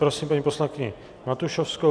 Prosím paní poslankyni Matušovskou.